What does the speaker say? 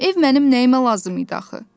Ev mənim nəyimə lazım idi axı?